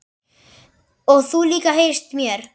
Og þú líka heyrist mér